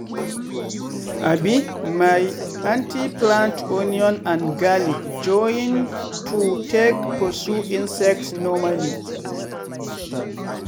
um my anty plant onion and garlic join to take pursue insects normally.